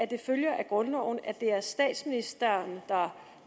det følger af grundloven at det er statsministeren der